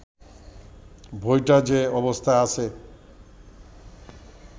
বইটা যে অবস্থায় আছে